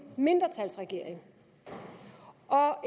mindretalsregering og